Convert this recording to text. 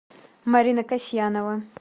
марина касьянова